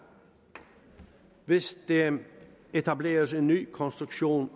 hvis der etableres en ny konstruktion